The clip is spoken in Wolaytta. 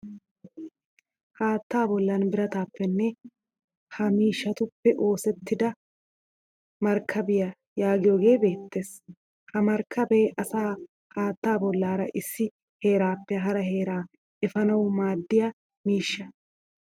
Haattaa bollan birataappene ha miishshatuppe oosettida markkabiya yaagiyohee beettes. Ha markkabee asaa haatta bollaara issi heraappe hara heeraa efanawu maaddiya miishsha.